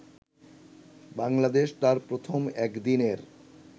বাংলাদেশ তার প্রথম একদিনের